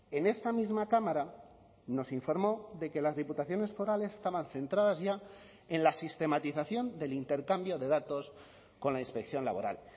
en esta misma cámara nos informó de que las diputaciones forales estaban centradas ya en la sistematización del intercambio de datos con la inspección laboral